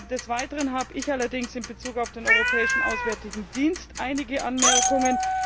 Des Weiteren habe ich allerdings in Bezug auf den Europäischen Auswärtigen Dienst einige Anmerkungen.